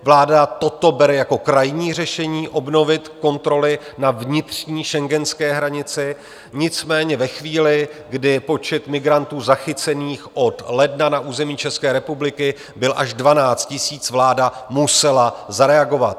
Vláda toto bere jako krajní řešení obnovit kontroly na vnitřní schengenské hranici, nicméně ve chvíli, kdy počet migrantů zachycených od ledna na území České republiky byl až 12 000, vláda musela zareagovat.